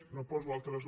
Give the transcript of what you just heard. no poso altres